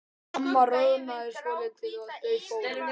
Mamma roðnaði svolítið og þau fóru.